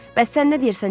Bəs sən nə deyirsən Jasper?